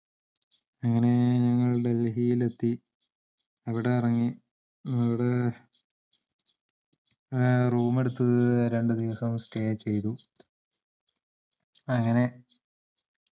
അങ്ങനെ ഞങ്ങൾ ഡൽഹിയിലെത്തി അവിടെ എറങ്ങി അവിടെ ഏഹ് room എട്ത് രണ്ടുദിവസം stay ചെയ്തു അങ്ങനെ